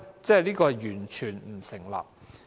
這是完全不成立。